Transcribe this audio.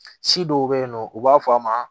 Si dɔw bɛ yen nɔ u b'a fɔ a ma